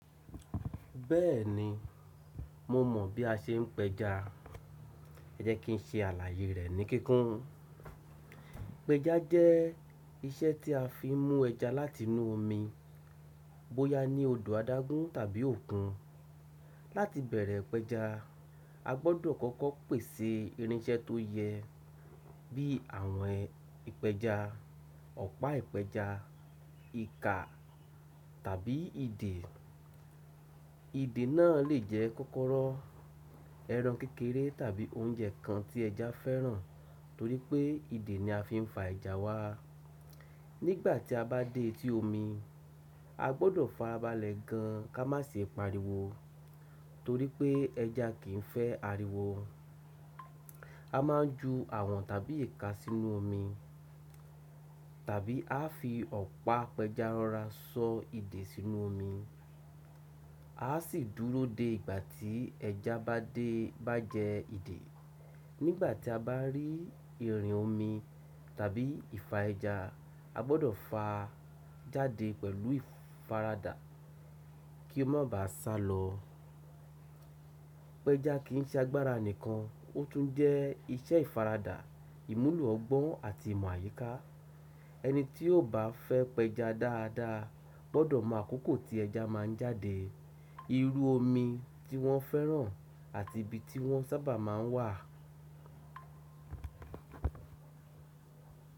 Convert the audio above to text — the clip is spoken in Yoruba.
Bẹ́ẹ̀ni, mo mọ̀ bí a ṣe ń péja. Ejẹ́ kí n se àlàayé rẹ̀ ní kíkún. Péja jẹ́ iṣẹ́ tí a fi ń mú ẹja láti inú omi, bóya ní odò adágún tàbí òkun. Láti bẹ̀rẹ̀ péja, a gbọ́dọ̀ kọ́kọ́ pèsè irinṣẹ́ tó yẹ bí àwọn ìpéja, ọ̀pá ìpéja, ìka tàbí ìdè. Ìdè náà lè jẹ́ kọ́kọ́rọ́, ẹran kékeré tàbí oúnjẹ kan tí ẹja fẹ́ràn torí pé ìdè ni a fi ń fa ẹja wá. Nígbà tí a bá dé tí omi, a gbọ́dọ̀ fa abálẹ̀ gan ka má ṣe pariwo torí pé ẹja kì í fẹ́ ariwo. A máa ń ju àwọ̀n tàbí ìka sínú omi tàbí a fi ọ̀pá péja rọra sọ ìdè sínú omi. A ó sì dúró dé ìgbà tí ẹja bá jẹ ìdè. Nígbà tí a bá rí irin omi tàbí ìfa ẹja, a gbọ́dọ̀ fà á jáde pẹ̀lú ìfaradà kí ó má bá sálọ. Péja kì í ṣe agbára nìkan, ó tún jẹ́ iṣẹ́ ìfaradà, ìmúlò ọgbọ́n àti ìmọ̀ àyíká. Ẹni tí ó bá fẹ́ péja dáadáa gbọ́dọ̀ mọ àkókò tí ẹja máa ń jáde, irú omi tí wọ́n fẹ́ràn àti ibi tí wọ́n sábà máa ń wà.